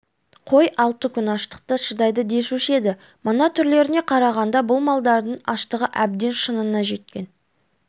қой алты күн аштыққа шыдайды десуші еді мынау түрлеріне қарағанда бұл малдардың аштығы әбден шыңына жеткен